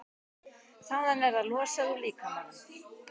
Þaðan er það losað úr líkamanum.